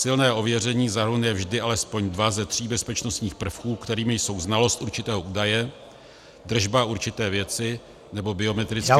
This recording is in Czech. Silné ověření zahrnuje vždy alespoň dva ze tří bezpečnostních prvků, kterými jsou znalost určitého údaje, držba určité věci nebo biometrické údaje -